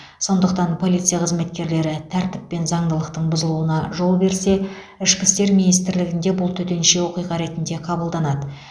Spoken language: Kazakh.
сондықтан полиция қызметкерлері тәртіп пен заңдылықтың бұзылуына жол берсе ішкі істер министрлігінде бұл төтенше оқиға ретінде қабылданады